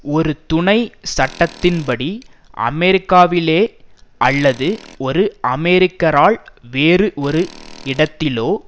ஒரு துணை சட்டத்தின்படி அமெரிக்காவிலே அல்லது ஒரு அமெரிக்கரால் வேறு ஒரு இடத்திலோ